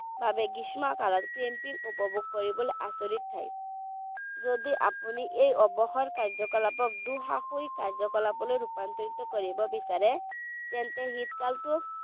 ভাৱে গ্ৰীষ্মকালত camping উপভোগ কৰিবলৈ আচৰিত ঠাই যদি আপুনি এই অৱসৰ কাৰ্যয়-কলাপক দুঃসাহসিক কাৰ্য্য-কলাপলৈ ৰূপান্তৰিত কৰিব বিচাৰে তেন্তে শীতকালটো